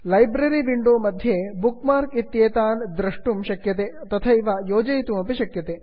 library window मध्ये bookmark इत्येतान् द्रष्टुं शक्यते तथैव योजयितुमपि शक्यते